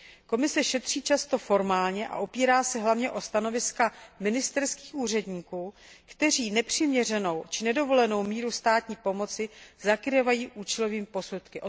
Komise šetří často formálně a opírá se hlavně o stanoviska ministerských úředníků, kteří nepřiměřenou či nedovolenou míru státní pomoci zakrývají účelovými posudky.